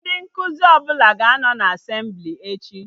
Ndị nkụzi ọbụla ga-anọ na Asemblị echi